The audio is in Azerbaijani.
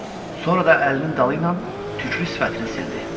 Sonra da əlinin dalı ilə tüklü sifətini sildi.